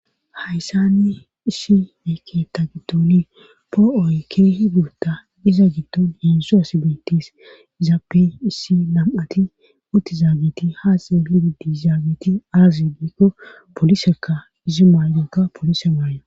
Hayssani issi beketa giddoni po'oyke higuta iza giddon yeensu as betis izaape issi lam'ati utti zaageti haaze hididizaageti aazigekko polisekka izi maaygonka polise maayo.